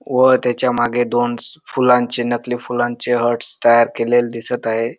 व त्याच्या मागे दोनस फुलांची नकली फुलांची हार्ट्स तयार केलेली दिसत आहे.